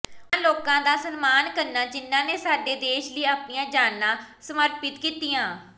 ਉਨ੍ਹਾਂ ਲੋਕਾਂ ਦਾ ਸਨਮਾਨ ਕਰਨਾ ਜਿਨ੍ਹਾਂ ਨੇ ਸਾਡੇ ਦੇਸ਼ ਲਈ ਆਪਣੀਆਂ ਜਾਨਾਂ ਸਮਰਪਿਤ ਕੀਤੀਆਂ